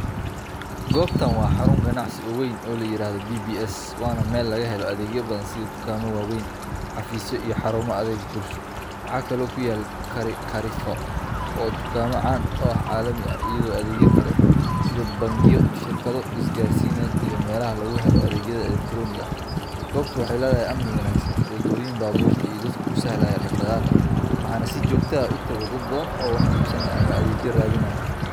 Goobtan waa xarun ganacsi oo weyn oo la yiraahdo BBS, waana meel laga helo adeegyo badan sida dukaamo waaweyn, xafiisyo, iyo xarumo adeeg bulsho. Waxa kale oo ku yaal Carrefour oo ah dukaamo caan ah oo caalami ah, iyo adeegyo kale sida bangiyo, shirkado isgaarsiineed, iyo meelaha laga helo adeegyada elektaroonigga ah. Goobtu waxay leedahay amni wanaagsan, waddooyin baabuurta iyo dadka u sahlaya dhaqdhaqaaqa, waxaana si joogto ah u tago dad badan oo wax iibsanaya ama adeegyo raadinaya.